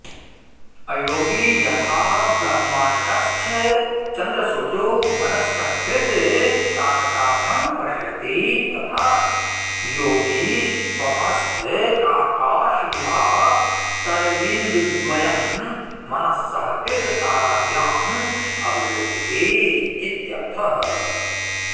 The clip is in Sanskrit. अयोगी यथा ब्रह्माण्डस्थचन्द्रसूर्यौ मनस्सहकृततारकाभ्यां पश्यति तथा योगी स्वमस्तकाकाशविभातरवीन्दुद्वयं मनस्सहकृतताराभ्यां अवलोकयेदित्यर्थः